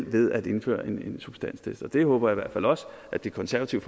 ved at indføre en substanstest og det håber jeg i hvert fald også at det konservative